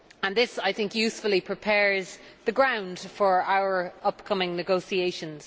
This usefully prepares the ground for our upcoming negotiations.